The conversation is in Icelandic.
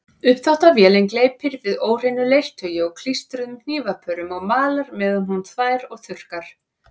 Uppþvottavélin gleypir við óhreinu leirtaui og klístruðum hnífapörum og malar meðan hún þvær og þurrkar.